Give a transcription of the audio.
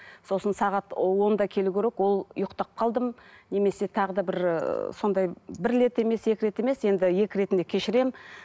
сосын сағат онда келу керек ол ұйықтап қалдым немесе тағы да бір ы сондай бір рет емес екі рет емес енді екі ретінде кешіремін